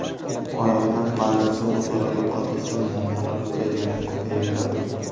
Oyoqlar balansi o‘zaro yo‘qotilsa, muammolar ko‘paygandan ko‘payaveradi.